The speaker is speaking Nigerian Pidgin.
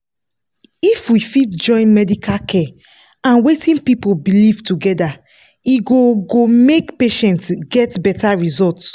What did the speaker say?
if we fit join medical care and wetin people believe together e go go make patients get better result.